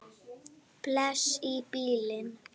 Bless í bili!